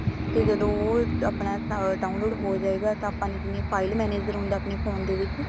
ਤੇ ਜਦੋਂ ਉਹ ਆਪਣਾ download ਹੋ ਜਾਇਗਾ ਤੇ ਆਪਾਂ ਨੇ ਜਿਵੇਂ file manager ਹੁੰਦਾ ਆਪਣੇ phone ਦੇ ਵਿੱਚ